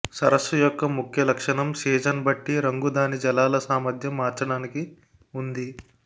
సరస్సు యొక్క ముఖ్య లక్షణం సీజన్ బట్టి రంగు దాని జలాల సామర్ధ్యం మార్చడానికి ఉంది